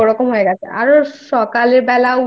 হচ্ছে ছোট একটা পুকুর যেরকম হয় নদীটা ঠিক ওরকম হয়ে